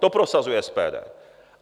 To prosazuje SPD.